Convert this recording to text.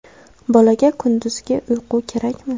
Bolaga kunduzgi uyqu kerakmi?.